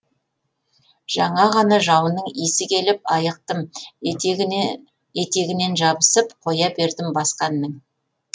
жаңа ғана жауынның иісі келіп айықтым етегінен жабысып қоя бердім басқа әннің